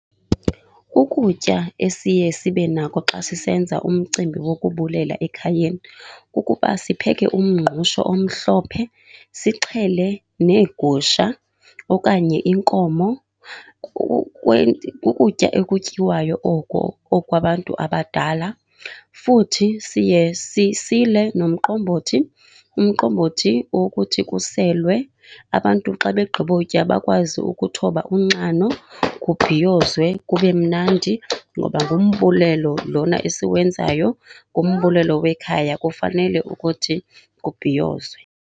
Ukutya esiye sibe nako xa sisenza umcimbi wokubulela ekhayeni kukuba sipheke umngqusho omhlophe, sixhele neegusha okanye inkomo. Kukutya ekutyiwayo oko okwa abantu abadala. Futhi siye sisile nomqombothi, umqombothi owokuthi kuselwe. Abantu xa begqibotya bakwazi ukuthoba unxano, kubhiyozwe, kube mnandi. Ngoba ngumbulelo lona esiwenzayo, ngumbulelo wekhaya kufanele ukuthi kubhiyozwe.